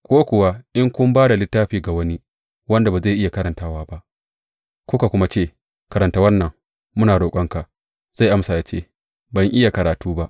Ko kuwa in kun ba da littafin ga wani wanda ba zai iya karantawa ba, kuka kuma ce, Karanta wannan, muna roƙonka, zai amsa ya ce, Ban iya karatu ba.